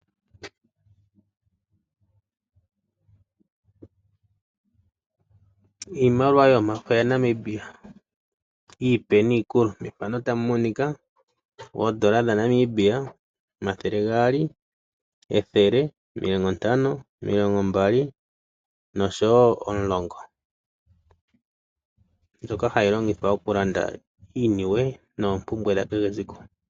Iimaliwa yomafo yaNamibia iipe niikulu. Methano otamu monika oondola dhaNamibia omathele gaali , ethele , omilongo ntano , omulongo mbali nosho woo omulongo mbyoka hayi longithwa okulanda iiniwe noompumbwe dha kehe esiku.